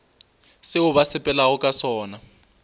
seo ba sepelago ka sona